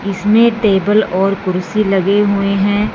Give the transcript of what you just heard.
इसमें टेबल और कुर्सी लगे हुएं हैं।